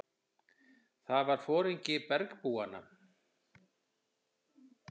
Það var foringi bergbúanna.